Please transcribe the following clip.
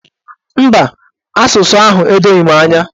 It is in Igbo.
Mba, asụsụ ahụ edoghi m anya.